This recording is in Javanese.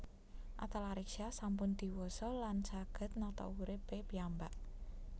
Atalarik Syah sampun diwasa lan saget nata urip e piyambak